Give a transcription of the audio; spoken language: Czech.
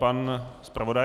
Pan zpravodaj.